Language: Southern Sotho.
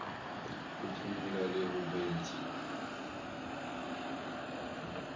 ho phumula le ho bentsha